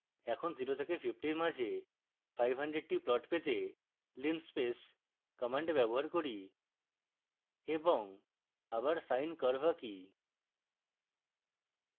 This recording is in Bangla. এখন 0 এবং 50 এর মাঝে 500 the পয়েন্ট পেতে linspace command ব্যবহার করি এবং আবার sine curve আঁকি